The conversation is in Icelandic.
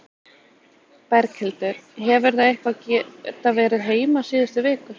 Berghildur: Hefurðu eitthvað geta verið heima síðustu vikur?